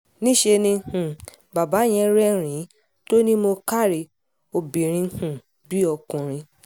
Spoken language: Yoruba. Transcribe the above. níṣẹ́ um ni bàbá yẹn rẹ́rìn-ín tó ní mo káre obìnrin um bíi ọkùnrin